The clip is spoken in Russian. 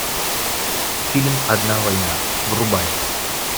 фильм одна война врубай